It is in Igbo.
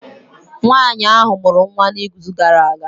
Nwanyị ahụ mụrụ nwa n'izu gara aga